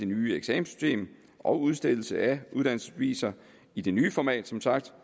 nye eksamenssystem og udstedelse af uddannelsesbeviser i det nye format som sagt